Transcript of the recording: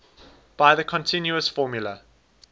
by the continuous formula